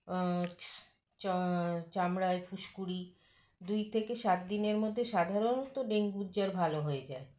আ চ চামড়ায় ফুসকুড়ি দুই থেকে সাত দিনের মধ্যে সাধারণত ডেঙ্গুর জ্বর ভালো হয়ে যায়